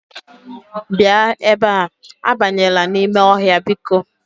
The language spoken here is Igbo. Bia ebe a, abanyela n'ime ohia biko.